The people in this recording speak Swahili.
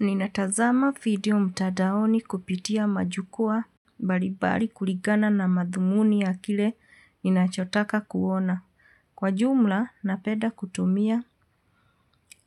Nina tazama video mtandaoni kupitia majukua mbalibali kulingana na madhumuni ya kile inachotaka kuona. Kwa jumla, napenda kutumia